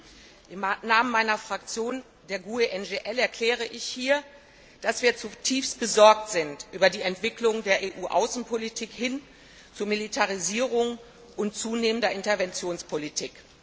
Herr Präsident! Im Namen meiner Fraktion, der GUE NGL, erkläre ich hier, dass wir zutiefst besorgt sind über die Entwicklung der EU Außenpolitik hin zu Militarisierung und zunehmender Interventionspolitik.